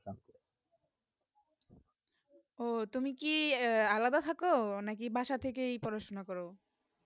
ওহ তুমি কি আলাদা থাকো না কি বাসা থেকে ই পড়াশোনা করো